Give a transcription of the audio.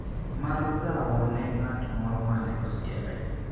mar dhawo ne ng'at moro mane osieme